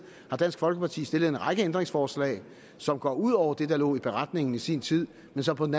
har dansk folkeparti stillet en række ændringsforslag som går ud over det der lå i beretningen i sin tid men som på den